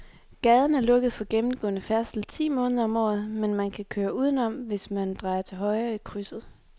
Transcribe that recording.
Gaden er lukket for gennemgående færdsel ti måneder om året, men man kan køre udenom, hvis man drejer til højre i krydset.